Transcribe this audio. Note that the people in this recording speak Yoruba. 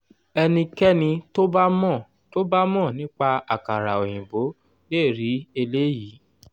ẹnikẹ́ni tó bá mọ tó bá mọ nípa àkàrà òyìnbó le rí eléyìí.